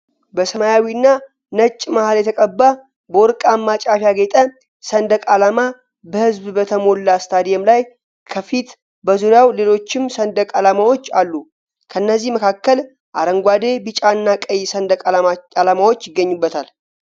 በሰማያዊና ነጭ መሐል የተቀባ፣ በወርቃማ ጫፍ ያጌጠ ሰንደቅ ዓላማ በሕዝብ በተሞላ ስታዲየም ላይ ከፊት ። በዙሪያው ሌሎችም ሰንደቅ ዓላማዎች አሉ፣ ከእነዚህም መካከል አረንጓዴ፣ ቢጫና ቀይ ሰንደቅ ዓላማዎች ይገኙበታል።